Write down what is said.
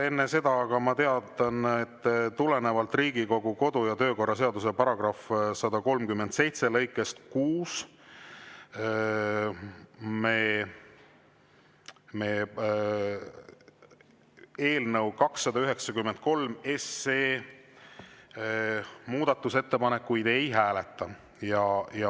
Enne seda aga teatan, et tulenevalt Riigikogu kodu‑ ja töökorra seaduse § 137 lõikest 6 me eelnõu 293 muudatusettepanekuid ei hääleta.